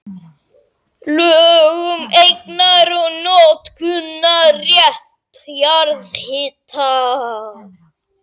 Lög um eignar- og notkunarrétt jarðhita.